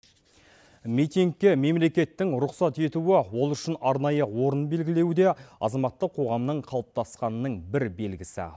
митингке мемлекеттің рұқсат етуі ол үшін арнайы орын белгілеуі де азаматтық қоғамның қалыптасқанның бір белгісі